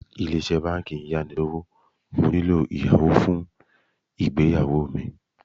Báńkì Ilé-Iṣẹ́ ń yá ni lówó, mo nílò ìyàwó fún ìgbéyàwó mi.